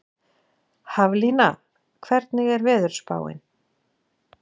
Haflína, hvernig er veðurspáin?